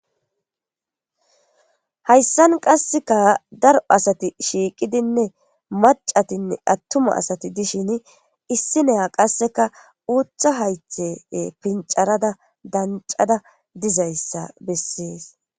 hayssan qasseka daro asati shiiqidinne macatinne attuma asati dishin issi neya qasseka uutha haythe pincarada dancada dizayssa bessees